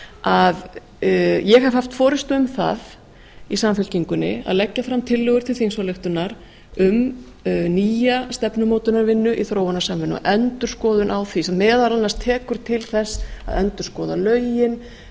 að ég hef haft forustu um það í samfylkingunni að leggja fram tillögur til þingsályktunar um nýja stefnumótunarvinnu í þróunarsamvinnu og endurskoðun á því sem meðal annars tekur til þess að endurskoða lögin